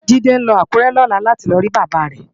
Jide nlò Akure lòlá láti lò ri Baba rè